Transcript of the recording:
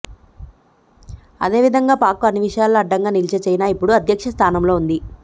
అదే విధంగా పాక్కు అన్ని విషయాల్లో అండగా నిలిచే చైనా ఇప్పుడు అధ్యక్ష స్థానంలో ఉంది